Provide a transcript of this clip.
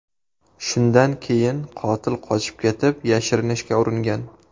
Shundan keyin qotil qochib ketib yashirinishga uringan.